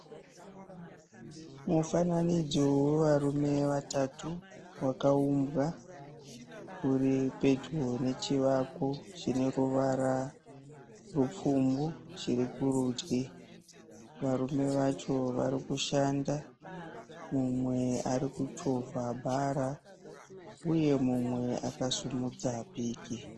Mufananidzo nevarume vatatu wakaumbwa uripedyo nechivako chineruvara rupfumbu chirikurudyi. Varume vacho varikushanda. Mumwe arikuchovha bhara uye mumwe akasimudza piki.